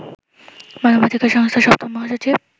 মানবাধিকার সংস্থার ৭ম মহাসচিব